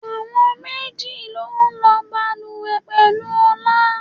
Àwọn méjì ló ń lo bàlùwẹ̀ pẹ̀lú Ọlá.